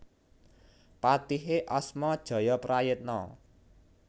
Patihé asma Jayaprayitna